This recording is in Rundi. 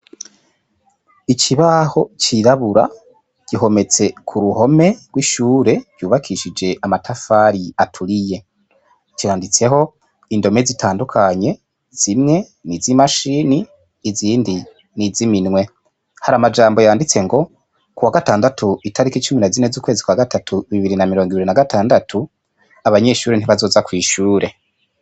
Ikibaho ciraburabura gihometse ku ruhome rw’ishure ryubakishije amatafari aturiye . Canditseko indome zitandukanye ; zimwe nizi mashine izindi niziminwe hari amajambo yanditse ngo, ku wa gatandatu itariki cumi na zine ukwezi kwa gatatu bibiri na mirongo ibiri na gatandatu ,abanyeshure ntibazoza kw’ishure.